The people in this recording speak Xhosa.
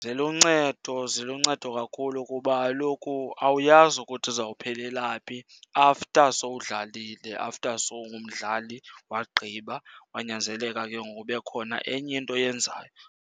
Ziluncedo, ziluncedo kakhulu kuba kaloku awuyazi ukuthi uzawuphelela phi after sowudlalile, after sowungumdlali wagqiba kwanyanzeleka ke ngoku kube khona enye into oyenzayo.